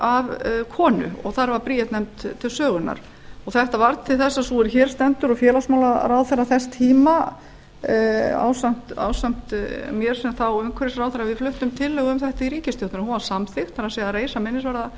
körlum af konu og þar var bríet nefnd til sögunnar þetta varð til þess að sú er hér stendur og félagsmálaráðherra þess tíma ásamt mér sem þá umhverfisráðherra við fluttum tillögu um þetta í ríkisstjórn hún var samþykkt það er að reisa minnisvarða